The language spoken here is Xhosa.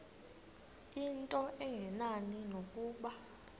into engenani nokuba